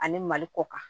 Ani mali kɔ kan